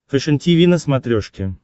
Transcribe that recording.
фэшен тиви на смотрешке